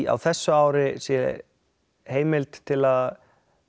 á þessu ári sé heimild til að